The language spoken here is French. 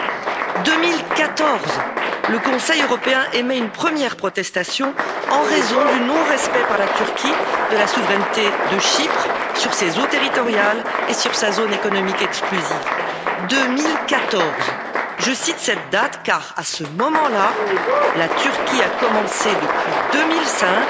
En 2014, le Conseil européen émet une première protestation en raison du non respect par la Turquie de la souveraineté de Chypre sur ses eaux territoriales et sur sa zone économique exclusive. Je cite cette date, 2014, car, à ce moment là, la Turquie mène depuis 2005